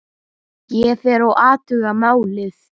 Ég fer og athuga málið.